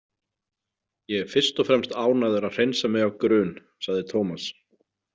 Ég er fyrst og fremst ánægður að hreinsa mig af grun, sagði Tómas.